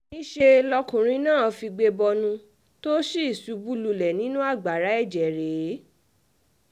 níṣẹ́ lọkùnrin náà figbe bọnu tó sì ṣubú lulẹ̀ nínú agbára ẹ̀jẹ̀ rẹ̀